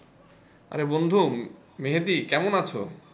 আরে বন্ধু, মেহেদী কেমন আছো?